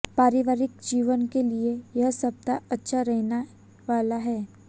पारिवारिक जीवन के लिए यह सप्ताह अच्छा रहने वाला है